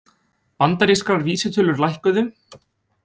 Bandarískar vísitölur lækkuðu